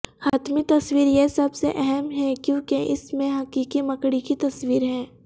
حتمی تصویر یہ سب سے اہم ہے کیونکہ اس میں حقیقی مکڑی کی تصویر ہے